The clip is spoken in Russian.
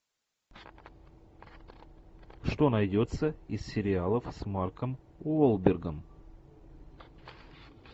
что найдется из сериалов с марком уолбергом